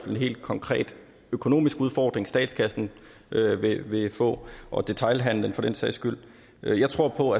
en helt konkret økonomisk udfordring statskassen vil vil få og detailhandlen også for den sags skyld jeg tror på